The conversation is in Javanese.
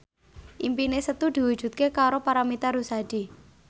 impine Setu diwujudke karo Paramitha Rusady